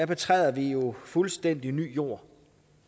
betræder vi jo fuldstændig ny jord